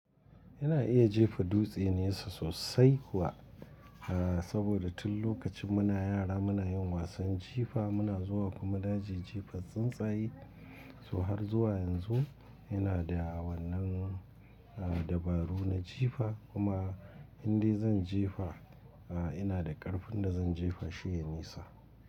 Ina iya jefa dutse nesa sosai kuwa, saboda tun lokacin muna yara muna yin wasan jifa muna zuwa kuma na je jefa tsuntsaye. To har zuwa yanzu ina da wannan a dabaru na jifa kuma indai zan jefa a ina da ƙarfin da zan jefa shi ya nisa.